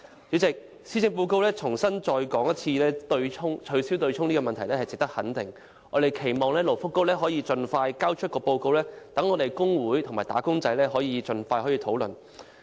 主席，施政報告再次提出"取消對沖"的問題值得肯定，我們期望勞工及福利局可以盡快提交報告，讓工會和"打工仔"盡快展開討論。